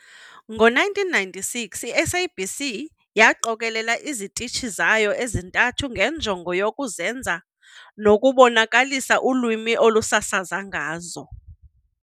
Ngo 1996, i-SABC yaqokelela izitishi zayo ezintathu ngenjongo yokuzenza nokubonakalisa ulwimi olusasaza ngazo.